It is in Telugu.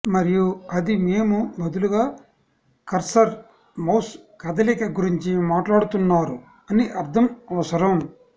మరియు అది మేము బదులుగా కర్సర్ మౌస్ కదలిక గురించి మాట్లాడుతున్నారు అని అర్థం అవసరం